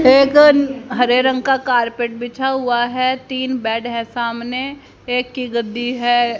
एक अ हरे रंग का कारपेट बिछा हुआ है तीन बेड है सामने एक की गद्दी है।